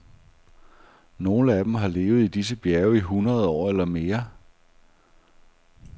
Nogle af dem har levet i disse bjerge i hundrede år eller mere.